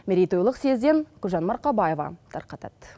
мерейтойлық съезден гүлжан марқабаева тарқатады